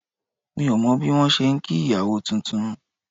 Mi ò mọ bí wọn ṣe ń kí ìyàwó titun